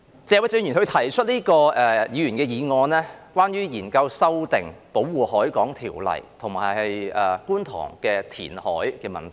謝偉俊議員提出這項議員議案，是關於研究修訂《保護海港條例》及觀塘的填海問題。